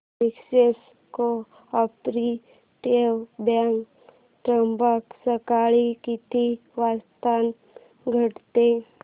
विश्वास cooperative bank Trimbak सकाळी किती वाजता उघडते